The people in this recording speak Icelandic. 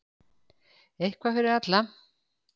Eitthvað fyrir alla!